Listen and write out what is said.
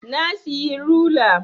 Na siyi rula